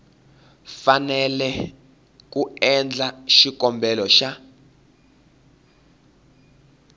fanele ku endla xikombelo xa